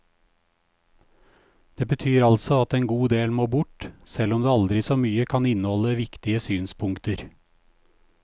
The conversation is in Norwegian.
Det betyr altså at en god del må bort, selv om det aldri så mye kan inneholde viktige synspunkter.